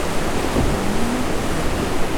афонину